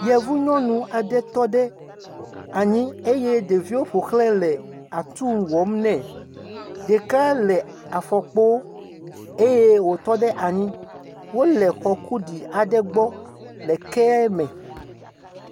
Yevu nyɔnu aɖe tɔ ɖe anyi eye ɖeviwo ƒo xlãe le atu wɔm nɛ. Ɖeka le afɔkpo eye wotɔ ɖe anyi. Wole xɔ kuɖi aɖe gbɔ le kea me.